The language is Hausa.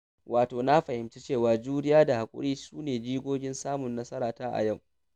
Wato na fahimci cewa, juriya da haƙuri sune jigon samun nasara ta a yau.